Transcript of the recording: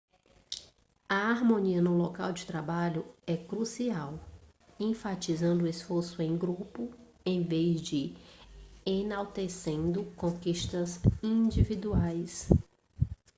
a harmonia no local de trabalho é crucial enfatizando o esforço em grupo em vez de enaltecendo conquistas individuais